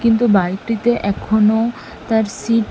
কিন্তু বাইকটিতে এখনো তার সিট --